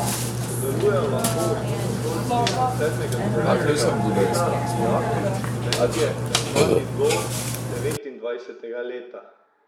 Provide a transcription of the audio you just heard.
Sodelujejo lahko osnovnošolci od sedmega do devetega razreda, dijaki, študentje ter mladi do devetindvajsetega leta.